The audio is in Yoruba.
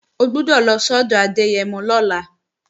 O gbọ́dọ̀ lọ sọ́dọ̀ Adẹ́yẹmọ lọ́la!